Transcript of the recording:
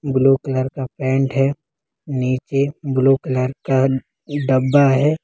Blue colour का pant है नीचे ब्लू कलर का डब्बा है।